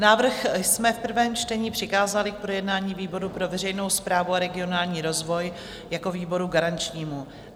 Návrh jsme v prvém čtení přikázali k projednání výboru pro veřejnou správu a regionální rozvoj jako výboru garančnímu.